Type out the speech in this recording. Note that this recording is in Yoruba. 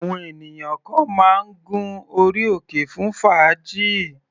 Àwọn ènìyàn kan máa ń gun orí òkè fún fàájì.